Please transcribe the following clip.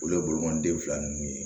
Olu ye bolomanden fila nunnu ye